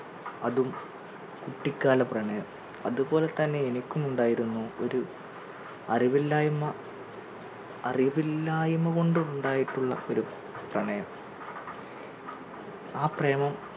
അതും കുട്ടിക്കാല പ്രണയം അതുപോലെതന്നെ എനിക്കും ഉണ്ടായിരുന്നു ഒരു അറിവില്ലായ് അറിവില്ലായ്മ കൊണ്ട് ഉണ്ടായിട്ടുള്ള ഒരു പ്രണയം ആ പ്രേമം